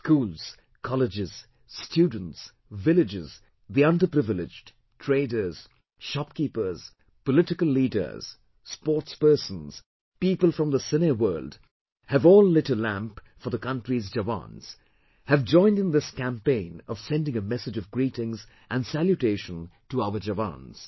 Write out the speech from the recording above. Schools, colleges, students, villages, the underprivileged, traders, shopkeepers, political leaders, sportspersons, people from the cine world have all lit a lamp for the country's Jawans, have joined in this campaign of sending a message of greetings and salutation to our Jawans